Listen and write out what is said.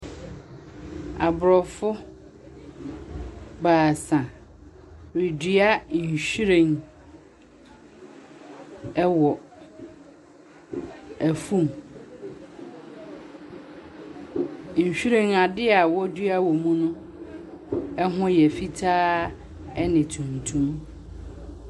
Aborɔfo baasa redua nhyiren ɛwɔ ɛfum. Nhyiren, a dia wo dua wɔ mu no pho yɛ fitaa ɛne tumtum.